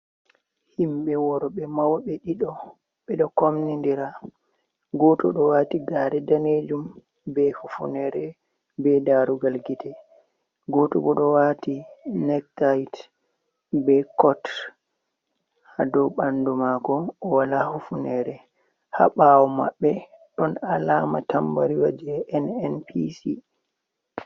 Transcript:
Himɓe worɓe mawɓe ɗiɗo ɓe ɗo komnindira. Gooto ɗo waati gaare daneejum be hufuneere be darugal gite. Gooto bo ɗo waati nektayit ,be kot haa dow ɓanndu maako, o wala hufuneere haa ɓaawo maɓɓe. Ɗon alaama tambariwa jey NNPC.